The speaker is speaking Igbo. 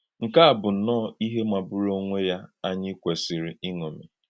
Nkè à bụ̀ nnọọ íhè màgbúru onwe ya ànyí kwèsìrì ìṅómì!